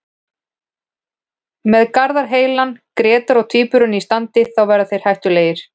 Með Garðar heilan, Grétar og Tvíburana í standi þá verða þeir hættulegir.